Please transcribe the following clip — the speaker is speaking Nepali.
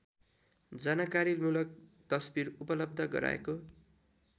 जानकारीमूलक तस्बिर उपलब्ध गराएको